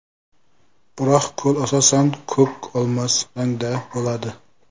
Biroq ko‘l asosan ko‘k-olmos rangda bo‘ladi.